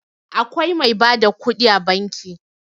Akwai mai ba da kuɗi a banki.